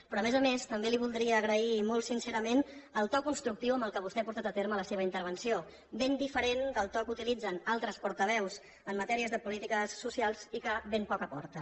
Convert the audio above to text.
però a més a més també li voldria agrair molt sincerament el to constructiu amb què vostè ha portat a terme la seva intervenció ben diferent del to que utilitzen altres portaveus en matèries de polítiques socials i que ben poc aporten